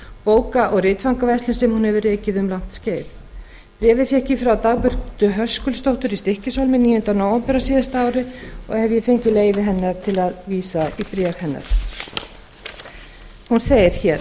bóka og ritfangaverslun sem hún hefur rekið um langt skeið bréfið fékk ég frá dagbjörtu höskuldsdóttur í stykkishólmi níunda nóvember á síðasta ári og hef ég fengið leyfi hennar til að vísa í það hún segir